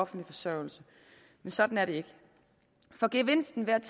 forsørgelse sådan er det ikke for gevinsten ved at